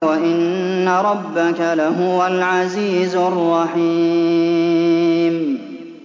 وَإِنَّ رَبَّكَ لَهُوَ الْعَزِيزُ الرَّحِيمُ